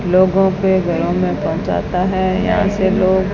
लोगों के घरों में पहुंचाता है यहां से लोग--